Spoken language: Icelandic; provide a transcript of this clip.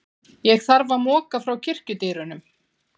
Ég þarf að moka frá kirkjudyrunum.